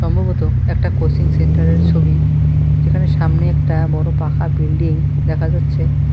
সম্ভবত একটা coaching centre -এর ছবি যেখানে সামনে একটা বড়ো পাকা বিল্ডিং দেখা যাচ্ছে।